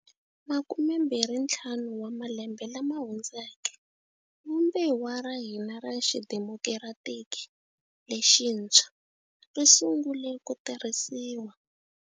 Makumembirhintlhanu wa malembe lama hundzeke, Vumbiwa ra hina ra xidemokiratiki lexintshwa ri sungule ku tirhisiwa.